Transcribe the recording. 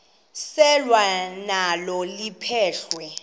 selwa nalo liphekhwe